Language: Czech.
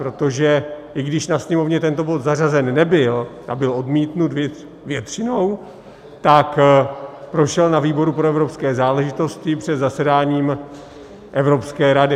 Protože i když na sněmovně tento bod zařazen nebyl a byl odmítnut většinou, tak prošel na výboru pro evropské záležitosti před zasedáním Evropské rady.